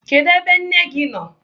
Kedụ ebe nne gị nọ?